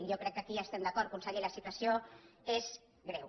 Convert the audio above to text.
jo crec que aquí estem d’acord conseller la situació és greu